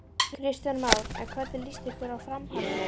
Kristján Már: En hvernig líst ykkur á framhaldið?